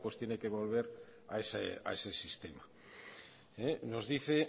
tiene que volver a ese sistema nos dice